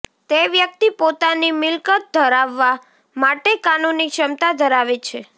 તે વ્યક્તિ પોતાની મિલકત ધરાવવા માટે કાનૂની ક્ષમતા ધરાવે છે